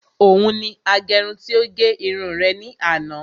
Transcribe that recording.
Òun ni agẹrun tí ó gẹ irun rẹ̀ ní àná